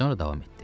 Sonra davam etdi.